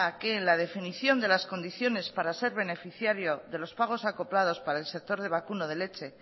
que en la definición de las condiciones para ser beneficiario de los pagos acoplados para el sector de vacuno de leche